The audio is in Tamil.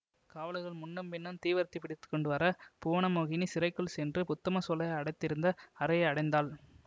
காவலர்கள் முன்னும் பின்னும் தீவர்த்தி பிடித்து கொண்டு வர புவனமோகினி சிறைக்குள் சென்று உத்தம சோழரை அடைத்திருந்த அறையை அடைந்தாள்